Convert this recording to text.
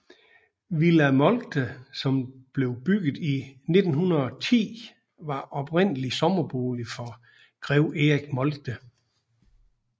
Villa Moltke som blev bygget i 1910 var oprindeligt sommerbolig for Grev Erik Moltke